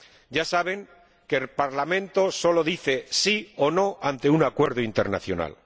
Ya saben que el Parlamento solo dice sí o no ante un acuerdo internacional.